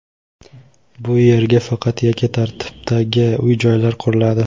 bu yerga faqat yakka tartibdagi uy-joylar quriladi.